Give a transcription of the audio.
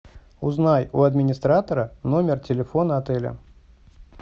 узнай у администратора номер телефона отеля